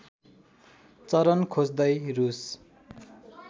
चरन खोज्दै रूस